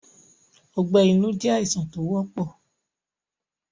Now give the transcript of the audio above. Ọgbẹ́ inú jẹ́ àìsàn tó wọ́pọ̀